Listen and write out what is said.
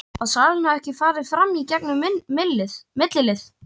Að salan hafi ekki farið fram í gegn um millilið.